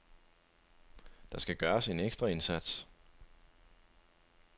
Der skal gøres en ekstra indsats.